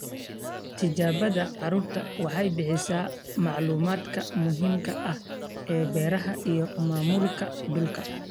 Tijaabada carradu waxay bixisaa macluumaadka muhiimka ah ee beeraha iyo maamulka dhulka.